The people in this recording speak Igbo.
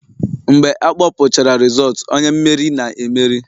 Mgbe akpọpụchara rizootu, onye mmeri na-emeri